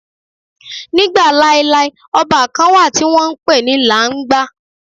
Nígbà laelae, ọba kan wà tí wọ́n ń pè ní Làńgbà.